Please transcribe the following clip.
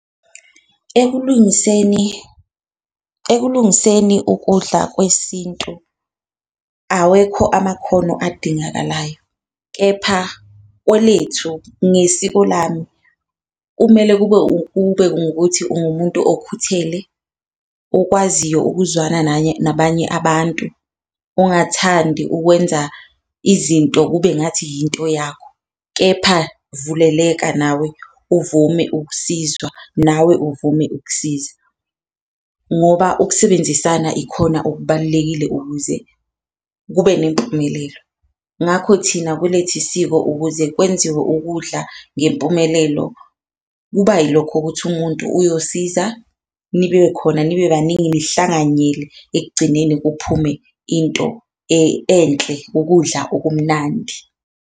Ekulungiseni ekulungiseni ukudla kwesintu awekho amakhono adingakalayo, kepha kwelethu ngesiko lami kumele kube ngukuthi ungumuntu okhuthele, okwaziyo ukuzwana nabanye abantu, ongathandi ukwenza izinto kube ngathi yinto yakho. Kepha vuleleka nawe, uvume ukusizwa nawe uvume ukusiza ngoba ukusebenzisana ikhona okubalulekile ukuze kube nempumelelo. Ngakho thina kwelethu siko ukuze kwenziwe ukudla ngempumelelo kuba yilokho ukuthi umuntu uyosiza, nibe khona nibe baningi nihlanganyele ekugcineni kuphume into enhle, ukudla okumnandi.